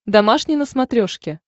домашний на смотрешке